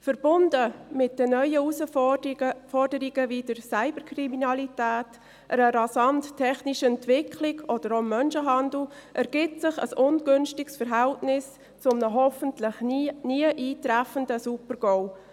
Verbunden mit den neuen Herausforderungen, wie der Cyberkriminalität, einer rasanten technischen Entwicklung oder auch dem Menschenhandel, ergibt sich ein ungünstiges Verhältnis zu einem hoffentlich nie eintreffenden Super-GAU.